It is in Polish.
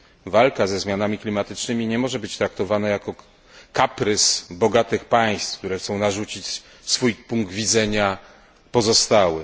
Walka ze zmianami klimatycznymi nie może być traktowana jako kaprys bogatych państw, które chcą narzucić swój punkt widzenia pozostałym.